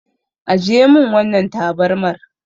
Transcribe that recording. Ajiye min wannan tabarmar.